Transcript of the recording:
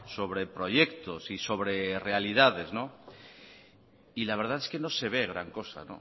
sobre proyectos y sobre realidades y la verdad es que no se ve gran cosa